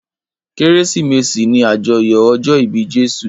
Kérésìmesì ni àjọyọ̀ ọjọ́ ìbí Jésù.